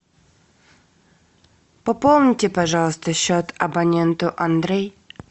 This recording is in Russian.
пополните пожалуйста счет абоненту андрей